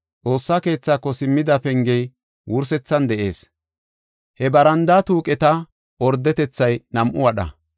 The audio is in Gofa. Xoossa keethaako simmida pengey wursethan de7ees. He barandaa tuuqeta ordetethay nam7u wadha.